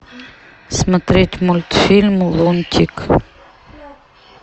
смотреть мультфильм лунтик